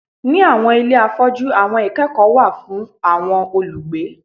Ni awọn ile afọju awọn ikẹkọ wa fun awọn olugbe